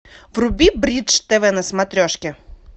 вруби бридж тв на смотрешки